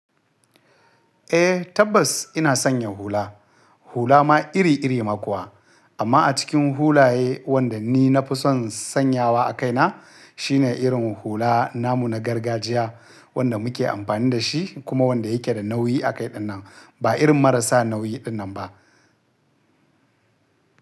Eh tabbas ina sanya hula. Hula ma iri iri ma kuwa. Amma a cikin hulaye wanda ni na fi son sanyawa a kaina shine irin hula namu na gargajiya wanda muke amfani da shi kuma wanda yake da nauyi a kai dinnan. Ba irin marasa nauyi dinnan ba.